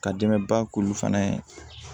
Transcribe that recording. Ka dɛmɛba k'ulu fana ye